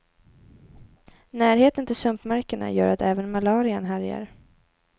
Närheten till sumpmarkerna gör att även malarian härjar.